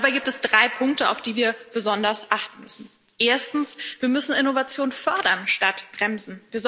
Dabei gibt es drei Punkte, auf die wir besonders achten müssen Erstens Wir müssen Innovationen fördern statt bremsen.